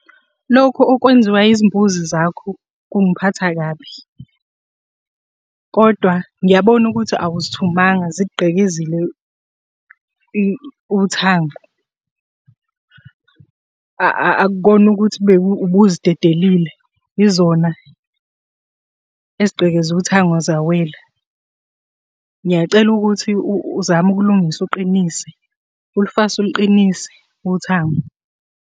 Lokhu okwenziwa izimbuzi zakho kungiphatha kabi, kodwa ngiyabona ukuthi awuzithumanga zigqekezile uthango. Akukona ukuthi ubuzidedelile, yizona ezigqekeze uthango zawela. Ngiyacela ukuthi uzame ukulungisa uqinise, ulufase uluqinise uthango.